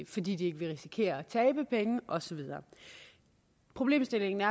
fordi de ikke vil risikere at tabe penge og så videre problemstillingen er